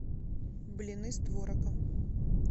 блины с творогом